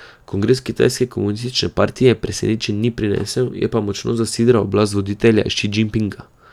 Kongres kitajske komunistične partije presenečenj ni prinesel, je pa močno zasidral oblast voditelja Ši Džinpinga.